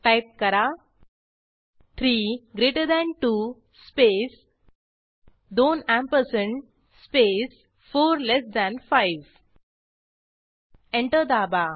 type करा 3 greater than 2 space दोन ampersand space 4 less than 5 enter दाबा